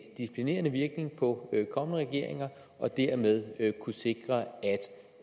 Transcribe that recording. disciplinerende virkning på kommende regeringer og dermed kunne sikre